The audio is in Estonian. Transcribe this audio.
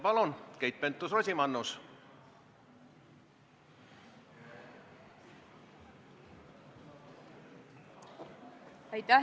Palun, Keit Pentus-Rosimannus!